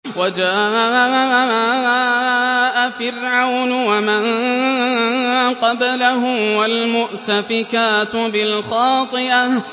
وَجَاءَ فِرْعَوْنُ وَمَن قَبْلَهُ وَالْمُؤْتَفِكَاتُ بِالْخَاطِئَةِ